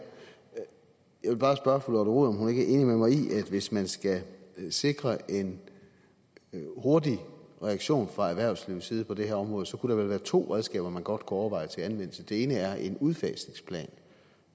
jeg vil bare spørge fru lotte rod om hun ikke er enig med mig i at hvis man skal sikre en hurtig reaktion fra erhvervslivets side på det her område så kunne der vel være to redskaber man godt kunne overveje at anvende det ene er en udfasningsplan